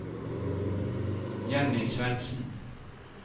Jenny Svendsen